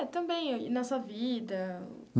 Também e na sua vida.